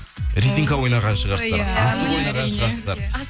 резинка ойнаған шығарсыздар асық ойнаған шығарсыздар